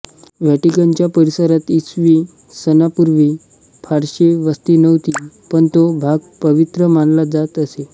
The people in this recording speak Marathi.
व्हॅटिकनच्या परिसरात इसवी सनापूर्वी फारशी वस्ती नव्हती पण तो भाग पवित्र मानला जात असे